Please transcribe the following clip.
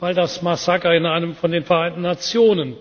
weil das Massaker in einem von den Vereinten